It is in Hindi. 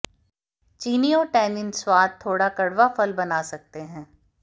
चीनी और टैनिन स्वाद थोड़ा कड़वा फल बना सकते हैं